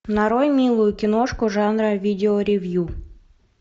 нарой милую киношку жанра видеоревью